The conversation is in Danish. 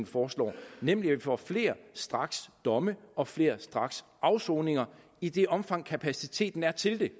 foreslår nemlig at vi får flere straksdomme og flere straksafsoninger i det omfang kapaciteten er til det